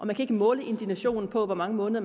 kan ikke måle indignationen på hvor mange måneder